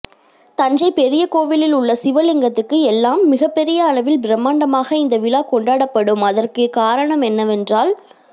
தஞ்சை பெரிய கோவிலில் உள்ள சிவலிங்கத்துக்கு எல்லாம் மிகப்பெரிய அளவில் பிரமாண்டமாக இந்த விழா கொண்டாடப்படும் அதற்கு காரணம் என்னவென்றால்